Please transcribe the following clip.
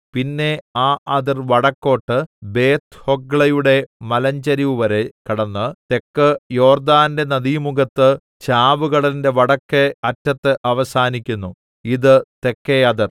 പിന്നെ ആ അതിർ വടക്കോട്ട് ബേത്ത്ഹൊഗ്ലയുടെ മലഞ്ചരിവുവരെ കടന്ന് തെക്ക് യോർദ്ദാന്റെ നദീമുഖത്ത് ചാവുകടലിന്റെ വടക്കെ അറ്റത്ത് അവസാനിക്കുന്നു ഇതു തെക്കെ അതിർ